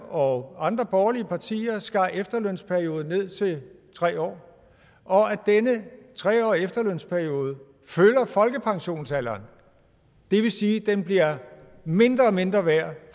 og andre borgerlige partier skar efterlønsperioden ned til tre år og at denne tre årige efterlønsperiode følger folkepensionsalderen det vil sige at den bliver mindre og mindre værd